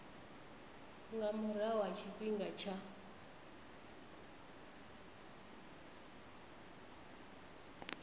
nga murahu ha tshifhinga tsha